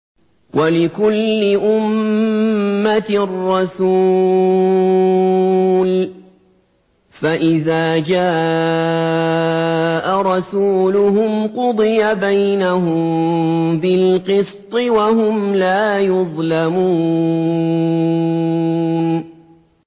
وَلِكُلِّ أُمَّةٍ رَّسُولٌ ۖ فَإِذَا جَاءَ رَسُولُهُمْ قُضِيَ بَيْنَهُم بِالْقِسْطِ وَهُمْ لَا يُظْلَمُونَ